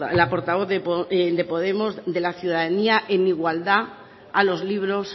la portavoz de podemos de la ciudadanía en igualdad a los libros